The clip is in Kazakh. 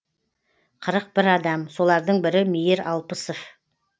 қырық бір адам солардың бірі мейір алпысов